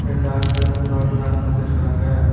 இரண்டு ஆட்கள் வந்து ரோட்ல நடந்து வந்து இருக்காங்க.